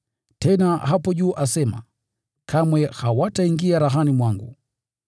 Tena hapo juu asema, “Kamwe hawataingia rahani mwangu.”